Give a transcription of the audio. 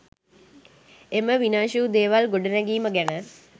එම විනාශ වූ දේවල් ගොඩනැගීම ගැන